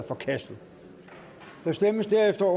forkastet der stemmes derefter